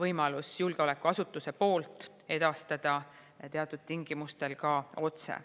võimalus julgeolekuasutuse poolt edastada teatud tingimustel ka otse.